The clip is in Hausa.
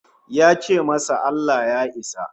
Ya ce masa Allah Ya isa